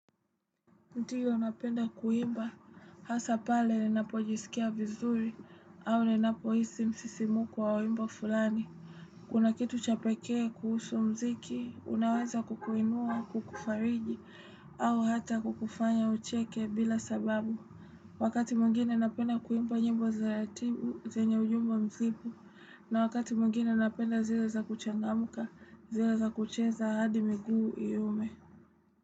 Ndiyo napenda kuimba, hasa pale napo jisikia vizuri, au ninapo isi msisimu kwa wawimbo fulani. Kuna kitu chapekee, kuhusu mziki, unawaza kukuinua, kukufariji, au hata kukufanya ucheke bila sababu. Wakati mungine unapenda kuimba nyembo za yatimu, zenye ujumbo mzimu, na wakati mungine unapenda zira za kuchangamuka, zira za kucheza hadi miguu yume.